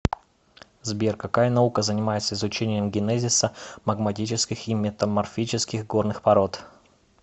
сбер какая наука занимается изучением генезиса магматических и метаморфических горных пород